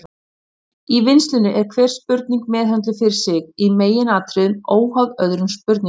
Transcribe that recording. Í vinnslunni er hver spurning meðhöndluð fyrir sig, í meginatriðum óháð öðrum spurningum.